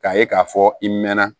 K'a ye k'a fɔ i mɛna